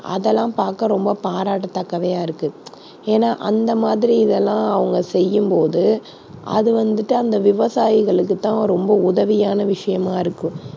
அதெல்லாம் பார்க்க ரொம்ப பாராட்டத்தக்கவையா இருக்கு ஏன்னா அந்த மாதிரி இதெல்லாம் அவங்க செய்யும்போது அது வந்துட்டு அந்த விவசாயிகளுக்குத் தான் ரொம்ப உதவியான விஷயமா இருக்கும்.